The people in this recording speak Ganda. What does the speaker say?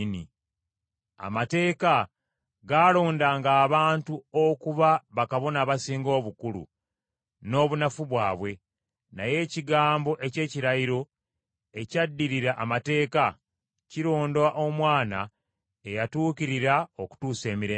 Amateeka gaalondanga abantu okuba Bakabona Abasinga Obukulu n’obunafu bwabwe, naye ekigambo eky’ekirayiro, ekyaddirira amateeka, kironda Omwana eyatuukirira okutuusa emirembe gyonna.